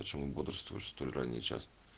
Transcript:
почему бодрствуешь столь ранний час